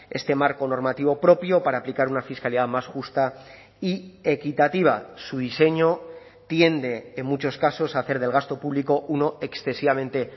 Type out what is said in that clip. este marco normativo propio para aplicar una fiscalidad más justa y equitativa su diseño tiende en muchos casos a hacer del gasto público uno excesivamente